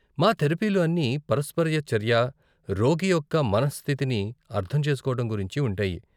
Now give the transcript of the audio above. మా తెరపీలు అన్నీ పరస్పర చర్య, రోగి యొక్క మనఃస్థితిని అర్ధం చేసుకోవటం గురించి ఉంటాయి.